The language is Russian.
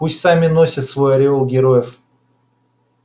пусть сами носят свой ореол героев